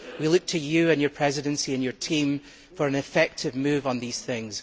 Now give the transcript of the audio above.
We look to you, your Presidency and your team for an effective move on these things.